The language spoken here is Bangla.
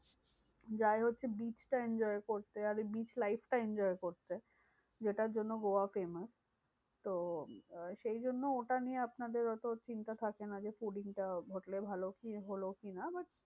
যায় হচ্ছে beach টা enjoy করতে। আর beach life টা enjoy করতে। যেটার জন্য গোয়া famous. তো আহ সেইজন্য ওটা নিয়ে আপনাদের অত চিন্তা থাকেনা যে, fooding টা হোটেলে ভালো কি হলো কি না? but